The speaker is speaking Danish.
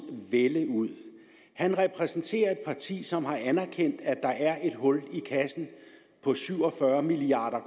vælde ud han repræsenterer et parti som har anerkendt at der er et hul i kassen på syv og fyrre milliard